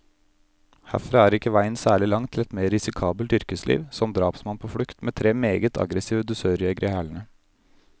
Herfra er ikke veien særlig lang til et mer risikabelt yrkesliv, som drapsmann på flukt, med tre meget aggressive dusørjegere i hælene.